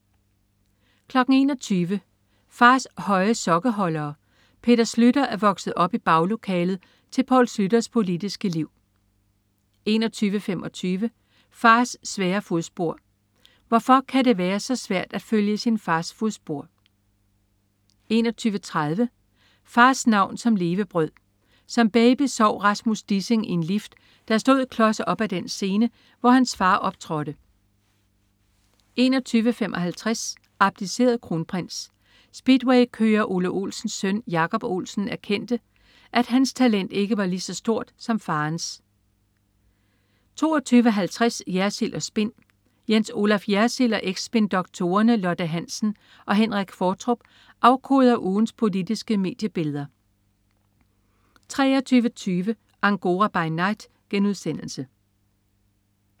21.00 Fars høje sokkeholdere. Peter Schlüter er vokset op i baglokalet til Poul Schlüters politiske liv 21.25 Fars svære fodspor. Hvorfor kan det være svært at følge i sin fars fodspor? 21.30 Fars navn som levebrød. Som baby sov Rasmus Dissing i en lift, der stod klods op ad den scene, hvor hans far optrådte 21.55 Abdiceret kronprins. Speedwaykører Ole Olsens søn Jacob Olsen erkendte, at hans talent ikke var lige så stort som faderens 22.50 Jersild & Spin. Jens Olaf Jersild og eks-spindoktorerne Lotte Hansen og Henrik Qvortrup afkoder ugens politiske mediebilleder 23.20 Angora by Night*